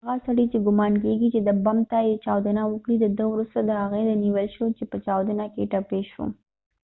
هغه سړی چې ګمان کېږی چې د بم ته یې چاودنه ورکړي ده وروسته د هغې و نیول شو چې په چاودنه کې ټپی شو